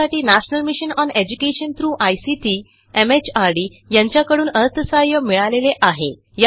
यासाठी national mission on education through ICT MHRD यांच्याकडून अर्थसहाय्य मिळालेले आहे